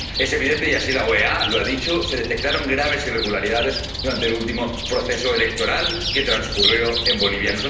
Es evidente, y así la OEA lo ha dicho, que se detectaron graves irregularidades durante el último proceso electoral que transcurrió en Bolivia.